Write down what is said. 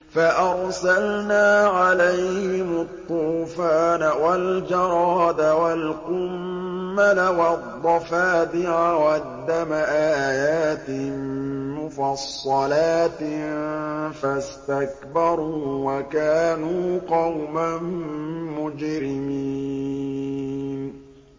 فَأَرْسَلْنَا عَلَيْهِمُ الطُّوفَانَ وَالْجَرَادَ وَالْقُمَّلَ وَالضَّفَادِعَ وَالدَّمَ آيَاتٍ مُّفَصَّلَاتٍ فَاسْتَكْبَرُوا وَكَانُوا قَوْمًا مُّجْرِمِينَ